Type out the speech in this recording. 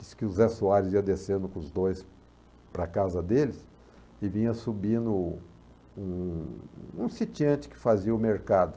Diz que o Zé Soares ia descendo com os dois para a casa deles e vinha subindo um um sitiante que fazia o mercado.